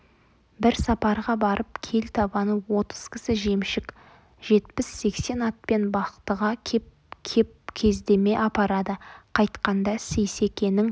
бір сапарға барып кел табаны отыз кісі жемшік жетпіс-сексен атпен бақтыға кеп-кеп кездеме апарады қайтқанда сейсекенің